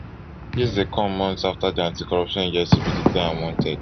dis dey come months afta di anticorruption agency bin declare am wanted